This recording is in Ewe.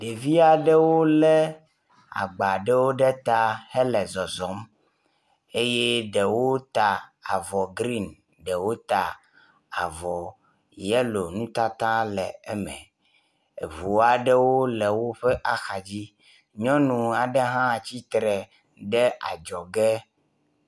Ɖevi aɖewo le agba ɖewo ɖe ta hele zɔzɔm eye ɖewo ta avɔ grin, ɖewo ta avɔ yelo nutata le eme. Eŋu aɖewo le woƒe axadzi. Nyɔnu aɖe hã tsitre ɖe adzɔge.